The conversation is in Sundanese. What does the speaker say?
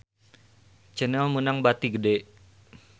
Channel meunang bati gede